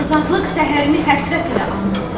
Azadlıq səhərini həsrət ilə anmısan.